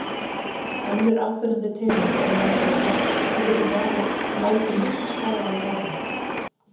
Önnur áberandi tegund er moldvarpa sem getur valdið miklum skaða í görðum.